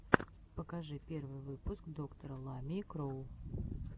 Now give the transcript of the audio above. покажи первый выпуск доктора ламии кроу